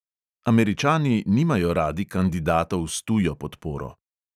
Američani nimajo radi kandidatov s tujo podporo.